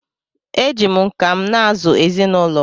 eji m nka m na-azụ ezinụlọ m